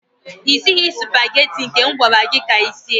Ị sighị supageti nke m gwara gị ka i sie.